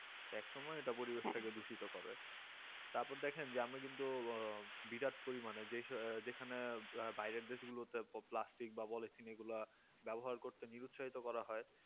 এক সময় এটা পরিবেশ থেকে দূষিত করে তারপর দেখেন যে আমরা কিন্তু বিরাট পরিমানে যেসব যেখানে বাইরের দেশগুলোতে plastic বা polythene এইগুলা ব্যবহার করতে নিরু সাহিত করা হয় করা হয়